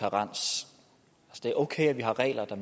det er okay at vi har regler der